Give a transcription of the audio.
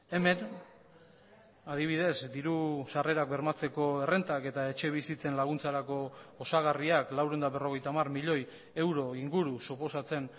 hemen adibidez diru sarrerak bermatzeko errentak eta etxebizitzen laguntzarako osagarriak laurehun eta berrogeita hamar milioi euro inguru suposatzen